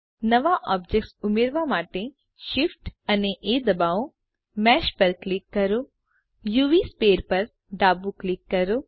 નવા ઑબ્જેક્ટ ઉમેરવા માટે શીફ્ટ અને એ દબાવો મેશ પર ક્લિક કરો યુવી સ્ફિયર પર ડાબું ક્લિક કરો